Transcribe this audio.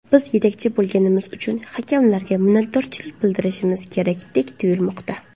Biz yetakchi bo‘lganimiz uchun hakamlarga minnatdorchilik bildirishimiz kerakdek tuyulmoqda.